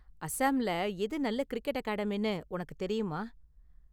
அசாம்ல எது நல்ல கிரிக்கெட் அகாடமினு உனக்கு தெரியுமா?